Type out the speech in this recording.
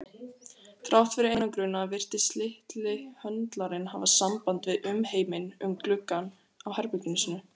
Þrátt fyrir einangrunina virtist litli höndlarinn hafa samband við umheiminn um gluggann á herbergi sínu.